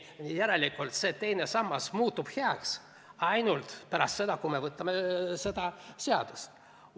Järelikult see teine sammas muutub heaks ainult siis, kui me võtame selle seaduse vastu.